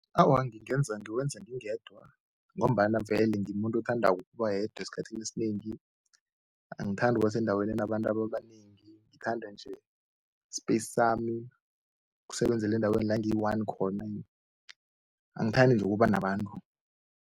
Awa, ngingenza ngiwenza ngingedwa ngombana vele ngimuntu othandako ukuba yedwa esikhathini esinengi. Angithandi ukuba sendaweni enabantu ababanengi, ngithanda nje i-space sami, ukusebenzela endaweni la ngiyi-one khona, angithandi-nje ukuba nabantu.